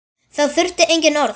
Þá þurfti engin orð.